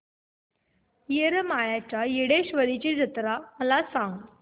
येरमाळ्याच्या येडेश्वरीची जत्रा मला सांग